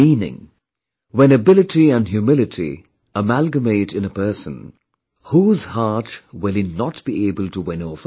meaning, when ability and humility amalgamate in a person, whose heart will he not be able to win over